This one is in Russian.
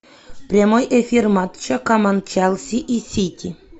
прямой эфир матча команд челси и сити